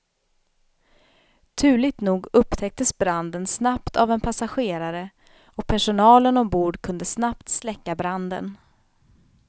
Turligt nog upptäcktes branden snabbt av en passagerare och personalen ombord kunde snabbt släcka branden.